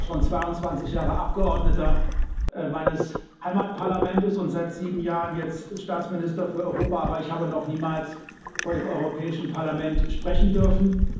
Ich bin zwar schon 22 Jahre Abgeordneter meines Heimatparlaments und seit sieben Jahren jetzt Staatsminister für Europa, aber ich habe noch niemals vor dem Europäischen Parlament sprechen dürfen.